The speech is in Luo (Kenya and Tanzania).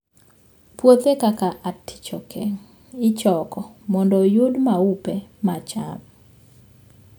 Puothe kaka artichoke ichoko mondo oyud maupe ma cham.